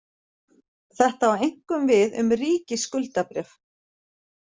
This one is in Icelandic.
Þetta á einkum við um ríkisskuldabréf.